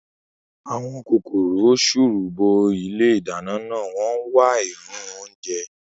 Àwọn kòkòrò sùùrù bo ilé ìdáná náà, wọ́n ń wá èérún oúnjẹ